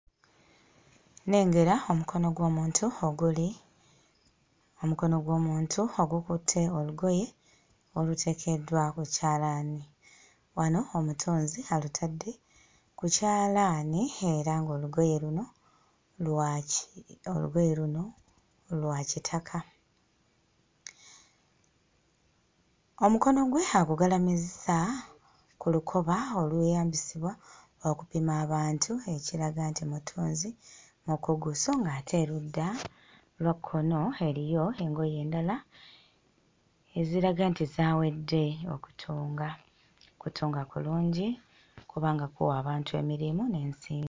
Nnengera omukono gw'omuntu oguli omukono gw'omuntu ogukutte olugoye oluteekeddwa ku kyalaani wano omutunzi alutadde ku kyalaani era ng'olugoye luno lwaki olugoye luno lwa kitaka omukono gwe agugalamizza ku lukoba olw'eyambisibwa okupima abantu ekiraga nti mutunzi mukugo so ng'ate erudda lwa kkono eriyo engoye endala eziraga nti zaawedde okutunga kutunga kulungi kubanga kuwa abantu emirimu n'ensimbi.